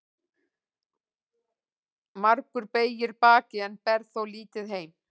Margur beygir bakið en ber þó lítið heim.